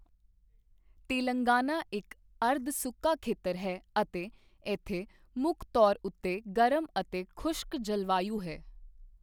ਤੇਲੰਗਾਨਾ ਇੱਕ ਅਰਧ ਸੁੱਕਾ ਖੇਤਰ ਹੈ ਅਤੇ ਇੱਥੇ ਮੁੱਖ ਤੌਰ ਉੱਤੇ ਗਰਮ ਅਤੇ ਖੁਸ਼ਕ ਜਲਵਾਯੂ ਹੈ।